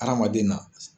Hadamaden na